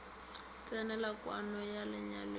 tsenela kwano ya lenyalo le